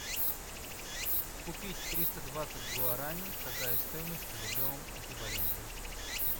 купить триста двадцать гуарани какая стоимость в рублевом эквиваленте